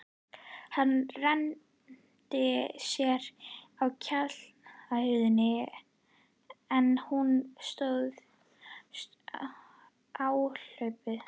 Hann renndi sér á kjallarahurðina, en hún stóðst áhlaupið.